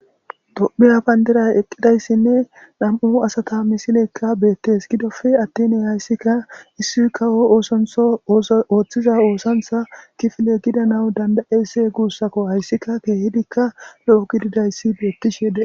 Tophphiya bandiray eqqidayssinne nami'u asata misiley beettes. Gidoppe attin hayssika issi kawo oosanchcho ooso ooththiza oosanchcha kifile gidanawu danda'esse guussako. Hayssika keehidikka lo'o gididayssi beettishe de'es.